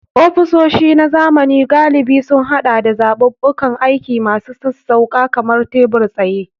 Ofisoshi na zamani galibi sun haɗa da zaɓuɓɓukan aiki masu sassauƙa kamar tebur-tsaye.